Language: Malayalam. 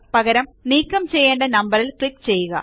പകരം നീക്കം ചെയ്യേണ്ട നമ്പറിൽ ക്ലിക്ക് ചെയ്യുക